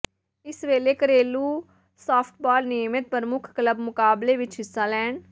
ਇਸ ਵੇਲੇ ਘਰੇਲੂ ਸਾਫਟਬਾਲ ਨਿਯਮਿਤ ਪ੍ਰਮੁੱਖ ਕਲੱਬ ਮੁਕਾਬਲੇ ਵਿੱਚ ਹਿੱਸਾ ਲੈਣ